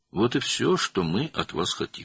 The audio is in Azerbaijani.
Bizim sizdən istədiyimiz budur.